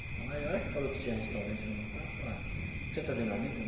Então, a hora que falou que tinha restaurante no local, eu falei, não precisa trazer marmita?